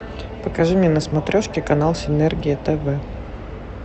покажи мне на смотрешке канал синергия тв